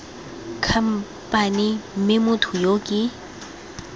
khamphane mme motho yo ke